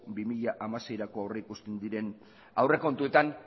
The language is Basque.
bi mila hamaseirako aurreikusten diren aurrekontuetan